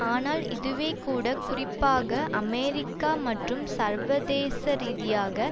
ஆனால் இதுவே கூட குறிப்பாக அமெரிக்கா மற்றும் சர்வதேசரீதியாக